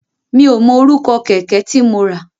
Mi ò mọ orúkọ kẹ̀kẹ́ tí mo rà.